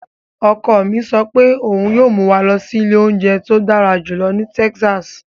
Ọkọ mi sọ pé òun yíó mú wa lọ sí ilé óúnjẹ tó dára jùlọ ní Texas.